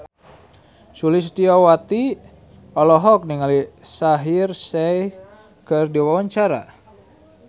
Sulistyowati olohok ningali Shaheer Sheikh keur diwawancara